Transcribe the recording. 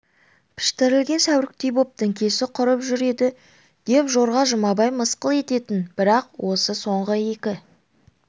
піштірілген сәуріктей боп діңкесі құрып жүріп еді деп жорға жұмабай мысқыл ететін бірақ осы соңғы екі